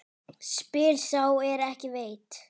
Spyr sá er ekki veit?